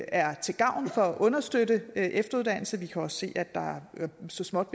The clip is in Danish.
er til gavn for at understøtte efteruddannelse vi kan også se at der så småt